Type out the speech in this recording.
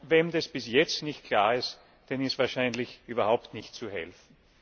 Wem das bis jetzt nicht klar ist, dem ist wahrscheinlich überhaupt nicht zu helfen.